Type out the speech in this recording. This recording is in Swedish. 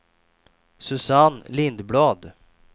Susanne Lindblad